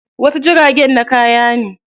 Wasu jiragen na kaya ne.